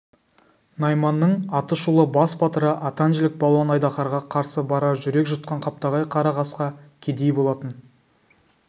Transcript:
найманның аты шулы бас батыры атан жілік балуан айдаһарға қарсы барар жүрек жұтқан қаптағай қара қасқа кедей болатын